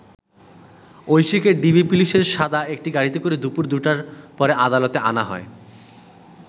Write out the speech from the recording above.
ঐশীকে DB পুলিশের সাদা একটি গাড়িতে করে দুপুর ২টার পরে আদালতে আনা হয়।